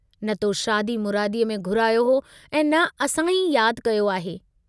न तो शादीअ मुरादीअ में घुरायो हो ऐं न असां ई याद कयो आहे।